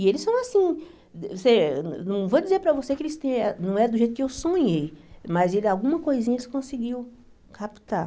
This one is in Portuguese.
E eles são assim, você não vou dizer para você que eles é não é do jeito que eu sonhei, mas ele alguma coisinha eles conseguiu captar.